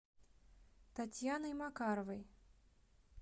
татьяной макаровой